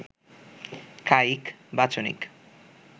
কায়িক, বাচনিক